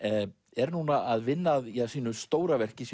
er núna að vinna að sínu stóra verki